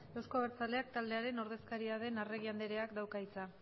euzko abertzaleak taldearen ordezkaria den arregi andreak dauka hitza